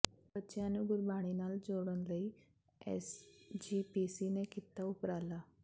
ਬੱਚਿਆਂ ਨੂੰ ਗੁਰਬਾਣੀ ਨਾਲ ਜੋੜਨ ਲਈ ਐੱਸਜੀਪੀਸੀ ਨੇ ਕੀਤਾ ਉਪਰਾਲਾ